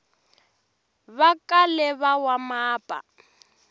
va kale va wa mapa